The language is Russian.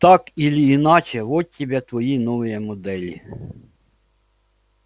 так или иначе вот тебе твои новые модели